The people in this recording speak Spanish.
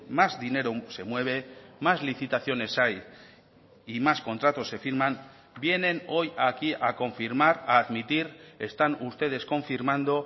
más dinero se mueve más licitaciones hay y más contratos se firman vienen hoy aquí a confirmar a admitir están ustedes confirmando